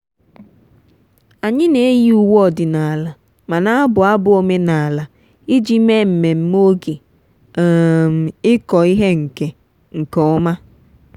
anyị na-eyi uwe ọdịnala ma na-abụ abụ omenala iji mee mmemme oge um ịkọ ihe nke nke ọma.